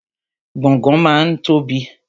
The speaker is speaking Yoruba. Gbọ̀ngán máa ń tóbi ni